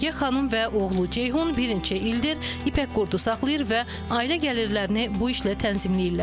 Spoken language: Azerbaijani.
Ruyə xanım və oğlu Ceyhun bir neçə ildir ipək qurdu saxlayır və ailə gəlirlərini bu işlə tənzimləyirlər.